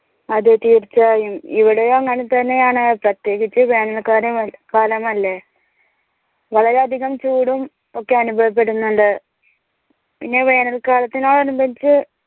അതെ തീർച്ചയായും ഇവിടേം അങ്ങനെ തന്നെയാണ് പ്രത്യേകിച്ച് വേനൽ കാല കാലമല്ലേ വളരെ അധികം ചൂടും ഒക്കെ അനുഭവപ്പെടുന്നുണ്ട് പിന്നെ വേനൽ കാലത്തിനോട് അനുബന്ധിച്ച്‌